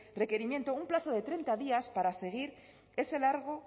requerimiento un plazo de treinta días